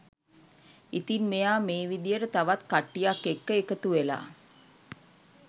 ඉතින් මෙයා මේ විදියට තවත් කට්ටියක් එක්ක එකතු වෙලා